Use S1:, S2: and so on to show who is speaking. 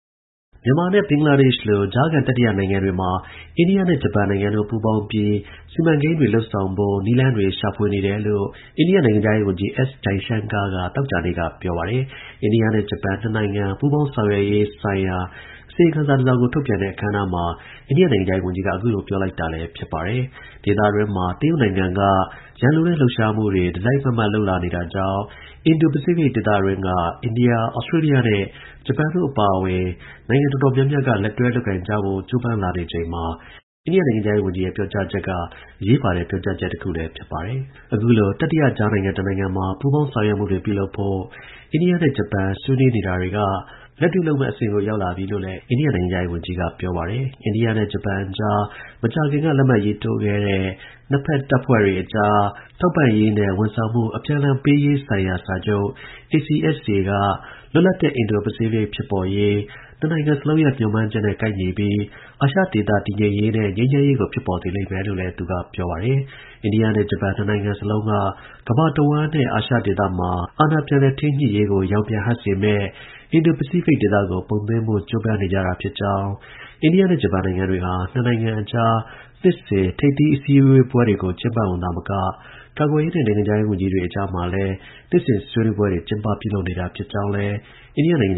S1: မြန်မာနဲ့ ဘင်္ဂလားဒေ့ရှ်လို ကြားခံ တတိယ နိုင်ငံတွေမှာ အိန္ဒိယနဲ့ ဂျပန်နိုင်ငံတို့ ပူးပေါင်းပြီး စီမံကိန်းတွေ လုပ်ဆောင်ဖို့ နည်းလမ်း တွေ ရှာဖွေနေတယ်လို့ အိန္ဒိယ နိုင်ငံခြားရေး ဝန်ကြီး S Jaishankar က သောကြာနေ့က ပြောပါတယ်။ အိန္ဒိယနဲ့ ဂျပန် နှစ်နိုင်ငံ ပူးပေါင်းဆောင်ရွက်ရေးဆိုင်ရာ အစီရင်ခံစာ တစ်စောင်ကို ထုတ်ပြန်တဲ့အခမ်းအနားမှာ အိန္ဒိယ နိုင်ငံခြားရေး ဝန်ကြီးက အခုလို ပြောလိုက်တာလည်း ဖြစ်ပါတယ်။ ဒေသတွင်းမှာ တရုတ်နိုင်ငံက ရန်လိုတဲ့ လှုပ်ရှားမှုတွေ တစ်စိုက်မတ်မတ် လုပ်လာနေတာကြောင့် အင်ဒို-ပစိဖိတ် ဒေသတွင်းက အိန္ဒိယ၊ ဩစတြေးလျနဲ့ ဂျပန်တို့ အပါအဝင် နိုင်ငံ တော်တော်များများက လက်တွဲ လုပ်ကိုင်ကြဖို့ ကြိုးပမ်းလာနေချိန်မှာ အိန္ဒိယ နိုင်ငံခြားရေး ဝန်ကြီးရဲ့ ပြောကြားချက်က အရေးပါတဲ့ ပြောကြားချက်တစ်ခုလည်း ဖြစ်လာပါတယ်။ အခုလို တတိယကြားခံနိုင်ငံတစ်နိုင်ငံမှာ ပူးပေါင်း ဆောင်ရွက်မှုတွေ ပြုလုပ်ဖို့ အိန္ဒိယနဲ့ ဂျပန်ဆွေးနွေးနေတာတွေကနေ လက်တွေ့ လုပ်မယ့် အဆင့်ကို ရောက်လာပြီလို့လည်း အိန္ဒိယ နိုင်ငံခြားရေး ဝန်ကြီး S Jaishankarက ပြောပါတယ်။ အိန္ဒိယနဲ့ ဂျပန်အကြား မကြာခင်က လက်မှတ်ရေးထိုးခဲ့တဲ့ နှစ်ဖက် တပ်ဖွဲ့တွေအကြား ထောက်ပံ့ရေးနဲ့ ဝန်ဆောင်မှု အပြန်အလှန် ပေးရေးဆိုင်ရာ စာချုပ် ACSA ကလွတ်လပ်တဲ့ အင်ဒို-ပစိဖိတ် ဖြစ်ပေါ်ရေး နှစ်နိုင်ငံစလုံးရဲ့ မျှော်မှန်းချက်နဲ့ ကိုက်ညီပြီး အာရှဒေသ တည်ငြိမ်ရေးနဲ့ ငြိမ်းချမ်းရေးကိုလည်း ဖြစ်ပေါ်စေလိမ့်မယ်လို့လည်း သူက ပြောပါတယ်။ အိန္ဒိယနဲ့ ဂျပန် ၂ နိုင်ငံစလုံးက ကမ္ဘာတစ်ဝှမ်းနဲ့ အာရှ ဒေသမှာ အာဏာ ပြန်လည် ထိန်းညှိရေးကို ရောင်ပြန် ဟပ်စေမယ့် အင်ဒို- ပစိဖိတ်ဒေသကို ပုံသွင်းဖို့ ကြိုးပမ်းနေကြာတာ ဖြစ်ကြောင်း၊ အိန္ဒိယနဲ့ ဂျပန်နိုင်ငံတွေဟာ နှစ်နိုင်ငံအကြား နှစ်စဉ် ထိပ်သီး အစည်းအဝေးပွဲကို သာမက ကာကွယ်ရေးနဲ့ နိုင်ငံခြားရေးဝန်ကြီးတွေ အကြားမှာလည်း နှစ်စဉ် ဆွေးနွေးပွဲတွေ ကျင်းပ ပြုလုပ် နေတာ ဖြစ်ကြောင်းလည်း အိန္ဒိယ နိုင်ငံ